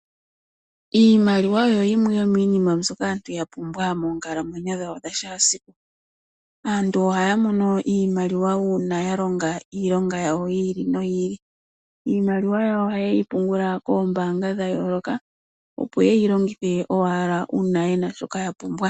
Iimaliwa oyo yimwe yomiinima mbyoka aantu ya pumbwa moonkalamwenyo dhawo dha shaasiku. Aantu ohaya mono iimaliwa uuna ya longa iilonga yawo yi ili yi ili. Iimaliwa yawo ohaye yi pungula koombaanga dha yooloka, opo ye yi longithe owala uuna ye na shoka ya pumbwa.